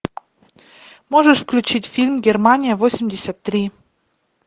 можешь включить фильм германия восемьдесят три